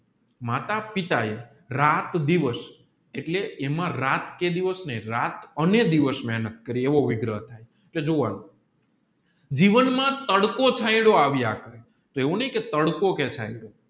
માતા પિતા એ રાત દિવસ એટલે એમાં રાત દિવસ નહીં રાત અને દિવસ મહેનત કરી એવોવિગ્રહ થાય જોવાનું જીવન માં તડકો છાંયડો આવ્યા કરે એવું નહીં કે તડકો થાય